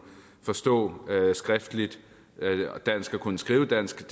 forstå skriftligt dansk og kunne skrive dansk